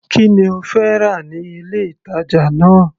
Kí ni ó fẹ́ rà ní ilé ìtàjà náà.